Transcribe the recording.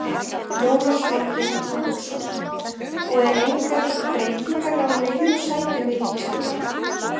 Jónas Margeir Ingólfsson: Og er engar breytingar á neinum sætum í ríkisstjórn?